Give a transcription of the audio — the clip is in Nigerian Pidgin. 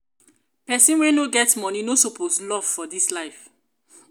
pesin wey no get moni no suppose love for dis life.